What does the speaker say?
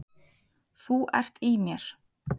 Þú ert í mér.